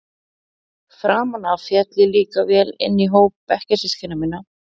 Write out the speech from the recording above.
Framan af féll ég líka vel inn í hóp bekkjarsystkina minna.